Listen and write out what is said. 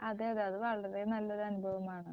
അതെ അതെ അത് വളരെ നല്ലൊരു അനുഭവമാണ്.